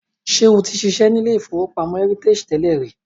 Ṣé o ti ṣiṣẹ́ ní ilé-ìfowópamọ́ Heritage tẹ́lẹ̀ rí?